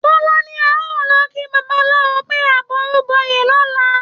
Tọ́lá ní a ò lọ kí babaláwo pé àbọrúbọyè lọ̀la